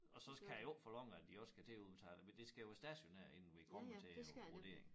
Og så kan jeg jo ikke forlange at de også skal til at udbetale men det skal jo være stationært inden vi kommer til æ vurdering